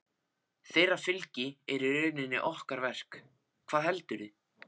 Þeirra fylgi er í rauninni okkar verk, hvað heldurðu.